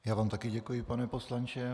Já vám také děkuji, pane poslanče.